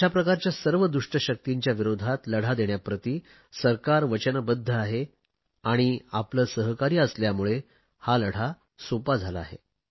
अशाप्रकारच्या सर्व दुष्ट शक्तींविरोधात लढा देण्याप्रती सरकार वचनबध्द आहे आणि आपले सहकार्य असल्यामुळे हा लढा सोपा झाला आहे